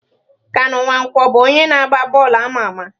Kanu Nwankwo bụ onye na agba bọọlụ ama ama.